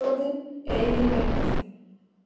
Þjóðin eigi rétt á þeim.